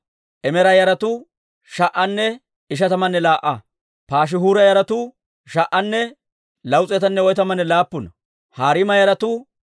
Penggiyaa naagiyaa Shaaluuma, As'eera, S'almmoona, Ak'k'uuba, Has'iis'anne Shobaaya yaratuu 139.